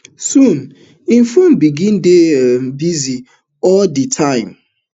soon im phone begin dey um busy all di time